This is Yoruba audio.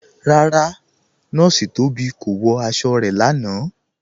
Rárá, Nọọ̀ṣì Tóbi kò wọ̀ àṣọ̀ rẹ̀ lánà.